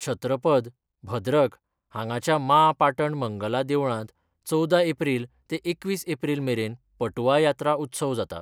छत्रपद, भद्रक हांगाच्या माँ पाटण मंगला देवळांत चवदा एप्रिल ते एकवीस एप्रिल मेरेन पटुआ यात्रा उत्सव जाता.